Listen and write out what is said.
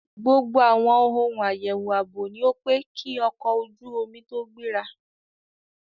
Gbogbo àwọn ohun àyẹ̀wò ààbò ni ó pé kí ọkọ̀ ojú omi tó gbéra.